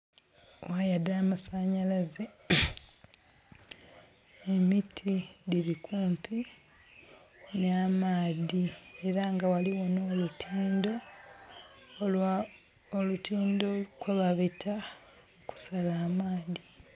Waya dha masanhalaze. Emiti dhiri kumpi na maadhi era nga ghaligho n'olutindo kwebabita okusala amaadhi.